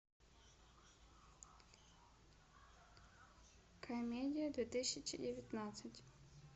комедия две тысячи девятнадцать